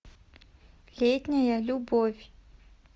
летняя любовь